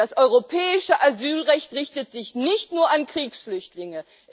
Das Europäische Asylrecht richtet sich nicht nur an Kriegsflüchtlinge.